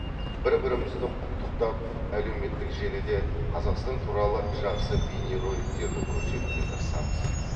бір бірімізді құттықтап әлеуметтік желіде қазақстан туралы жақсы бейнероликтерді көрсетуге тырысамыз